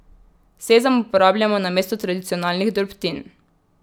Sezam uporabljamo namesto tradicionalnih drobtin.